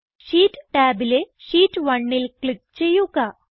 sheet ടാബിലെ sheet 1ൽ click ചെയ്യുക